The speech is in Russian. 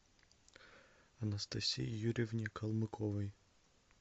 анастасии юрьевне калмыковой